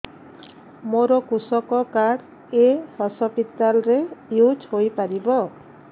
ମୋର କୃଷକ କାର୍ଡ ଏ ହସପିଟାଲ ରେ ୟୁଜ଼ ହୋଇପାରିବ